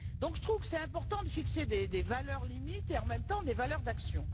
Je trouve qu'il est important de fixer des valeurs limites et, en même temps, des valeurs d'action.